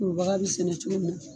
Kurubaga bi sɛnɛ cogo min